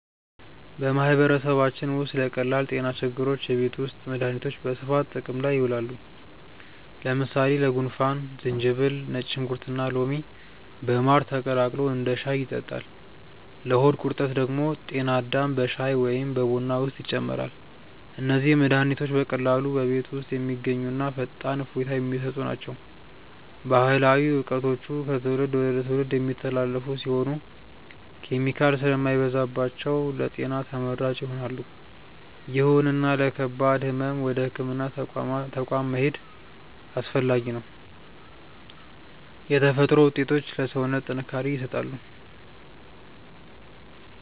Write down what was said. በማህበረሰባችን ውስጥ ለቀላል ጤና ችግሮች የቤት ውስጥ መድሃኒቶች በስፋት ጥቅም ላይ ይውላሉ። ለምሳሌ ለጉንፋን ዝንጅብል፣ ነጭ ሽንኩርትና ሎሚ በማር ተቀላቅሎ እንደ ሻይ ይጠጣል። ለሆድ ቁርጠት ደግሞ ጤና አዳም በሻይ ወይም በቡና ውስጥ ይጨመራል። እነዚህ መድሃኒቶች በቀላሉ በቤት ውስጥ የሚገኙና ፈጣን እፎይታ የሚሰጡ ናቸው። ባህላዊ እውቀቶቹ ከትውልድ ወደ ትውልድ የሚተላለፉ ሲሆኑ፣ ኬሚካል ስለማይበዛባቸው ለጤና ተመራጭ ይሆናሉ። ይሁንና ለከባድ ህመም ወደ ህክምና ተቋም መሄድ አስፈላጊ ነው። የተፈጥሮ ውጤቶች ለሰውነት ጥንካሬ ይሰጣሉ።